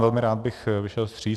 Velmi rád bych vyšel vstříc.